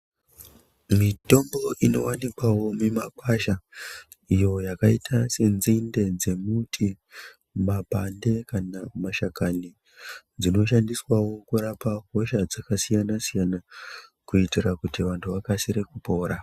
Mitombo inovanikwavo mumagwasha iyo yakaita senzinde dzemuti, mapande, kana mashakani. Dzinoshandiswavo kurapa hosha dzakasiyana-siyana, kuitira kuti vantu akasire kupora.